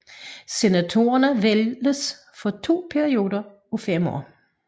Senatorerne vælges for to perioder af fem år